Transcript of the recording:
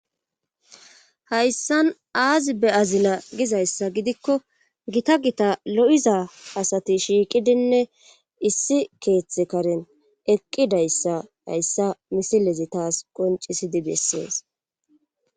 hayssan aazi be azila gizayssa gidikko gita gita lo7iza asati shiiqidinne issi keeththe karen eqqidayssa hayssa misilezi taas qoncisidi bessees